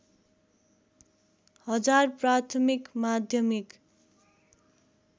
हजार प्राथमिक माध्यमिक